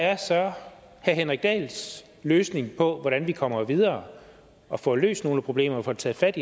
er så herre henrik dahls løsning på hvordan vi kommer videre og får løst nogle problemer og får taget fat